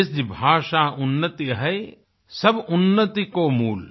निज भाषा उन्नति अहै सब उन्नति को मूल